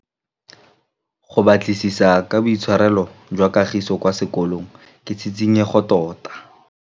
Go batlisisa ka boitshwaro jwa Kagiso kwa sekolong ke tshikinyêgô tota.